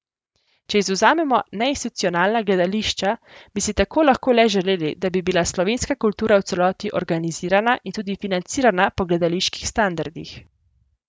Če izvzamemo neinstitucionalna gledališča, bi si tako lahko le želeli, da bi bila slovenska kultura v celoti organizirana in tudi financirana po gledaliških standardih.